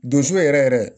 Donso yɛrɛ yɛrɛ